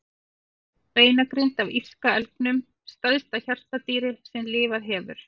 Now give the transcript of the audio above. Beinagrind af írska elgnum, stærsta hjartardýri sem lifað hefur.